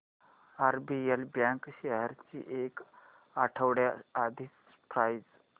RBL bank shares ची एक आठवड्या आधीची प्राइस